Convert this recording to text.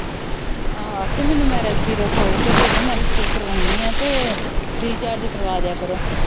ਆਹੋ ਆਖੀ ਮੈਨੂੰ ਮੈਰਿਜ ਬਿਊਰੋ ਖੋਲ ਕੇ ਦੇਦੇ ਮੈ ਰਿਸ਼ਤੇ ਕਰਵਾਉਣੀ ਆ ਤੇ ਰਿਚਾਰਜ ਕਰਵਾਦਿਆ ਕਰੋ।